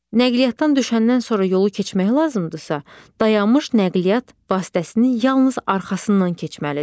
Nəqliyyatdan düşəndən sonra yolu keçmək lazımdırsa, dayanmış nəqliyyat vasitəsinin yalnız arxasından keçməlidir.